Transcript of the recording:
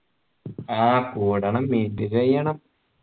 ആഹ് കൂടണം ഇത് കയ്യണം